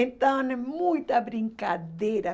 Então, era muita brincadeira.